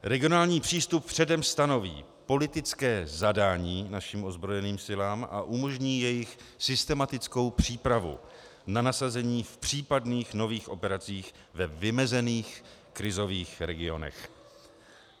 Regionální přístup předem stanoví politické zadání našim ozbrojeným silám a umožní jejich systematickou přípravu na nasazení v případných nových operacích ve vymezených krizových regionech.